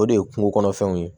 O de ye kungo kɔnɔfɛnw ye